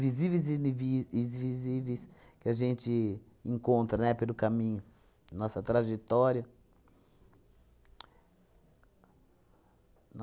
visíveis e iniv isvisíveis que a gente encontra, né, pelo caminho, nossa trajetória.